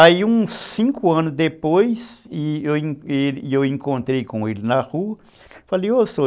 Aí, uns cinco anos depois, eu encontrei com ele na rua, falei, ô Sr.